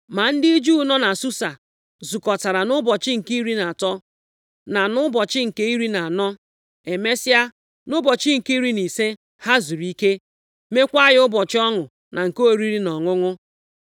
Ma ndị Juu nọ na Susa zukọtara nʼụbọchị nke iri na atọ, na nʼụbọchị nke iri na anọ. Emesịa, nʼụbọchị nke iri na ise ha zuru ike, mekwa ya ụbọchị ọṅụ na nke oriri na ọṅụṅụ.